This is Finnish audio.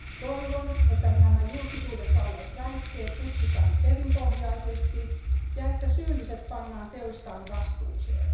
Toivon, että nämä julkisuudessa olleet väitteet tutkitaan perinpohjaisesti ja että syylliset pannaan teostaan vastuuseen.